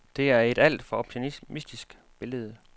Det er et alt for optimistisk billede.